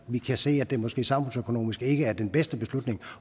vi kan se at det måske samfundsøkonomisk ikke er den bedste beslutning